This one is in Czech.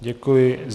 Děkuji.